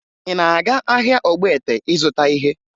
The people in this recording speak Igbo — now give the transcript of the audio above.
Ị na-aga ahịa Ogbete ịzụta ihe?